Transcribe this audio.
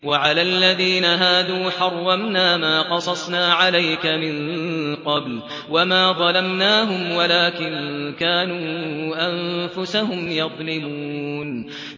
وَعَلَى الَّذِينَ هَادُوا حَرَّمْنَا مَا قَصَصْنَا عَلَيْكَ مِن قَبْلُ ۖ وَمَا ظَلَمْنَاهُمْ وَلَٰكِن كَانُوا أَنفُسَهُمْ يَظْلِمُونَ